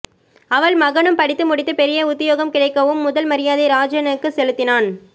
அவள் மகனும் படித்து முடித்து பெரிய உத்தியோகம் கிடைக்கவும் முதல் மரியாதை ராஜனுக்குச் செலுத்தினான்